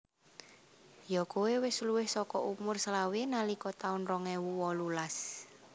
Yo koe wis luwih soko umur selawe nalika taun rong ewu wolulas